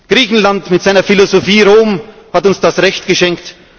Griechenland mit seiner Philosophie, Rom hat uns das Recht geschenkt.